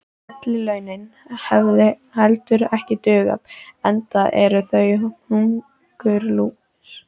Ellilaunin hefðu heldur ekki dugað, enda eru þau hungurlús.